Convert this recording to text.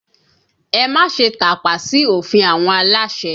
Ẹ má ṣe tàpá sí òfin àwọn aláṣẹ!